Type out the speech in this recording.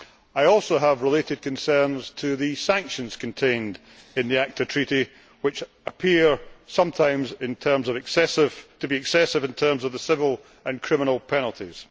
I also have related concerns to the sanctions contained in the ACTA treaty which appear sometimes to be excessive in terms of the civil and criminal penalties.